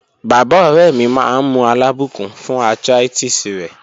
Baba ore mi maa n mu alabukun fun arthritis re